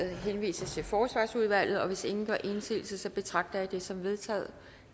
henvises til forsvarsudvalget hvis ingen gør indsigelse betragter jeg det som vedtaget